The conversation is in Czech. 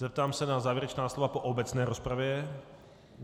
Zeptám se na závěrečná slova po obecné rozpravě.